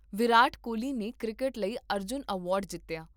ਵਿਰਾਟ ਕੋਹਲੀ ਨੇ ਕ੍ਰਿਕਟ ਲਈ ਅਰਜੁਨ ਐਵਾਰਡ ਜਿੱਤਿਆ